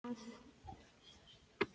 En svo fór ég að skilja hvað